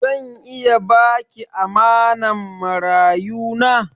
Zan iya ba ki amanan marayu na?